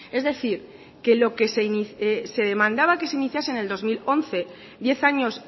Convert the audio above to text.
es decir que lo que se demandaba que se iniciase en el dos mil once diez años